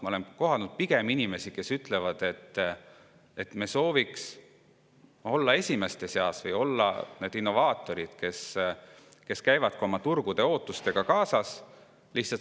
Ma olen pigem kohanud inimesi, kes ütlevad, et me sooviks olla esimeste seas või olla need innovaatorid, kes käivad oma turgude ootustega kaasas.